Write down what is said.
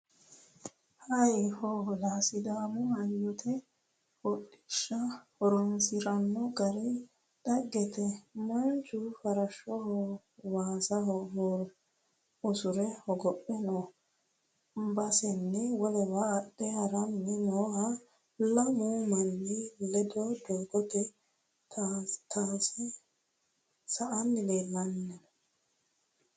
Hayi hoola sidaamu hayyote hodhishsha horonsirano gari dhagete manchu farashoho waasa usure hogophe no baseni wolewa adhe harani noohh lamu manni ledo doogo tayse sa"anni leellano.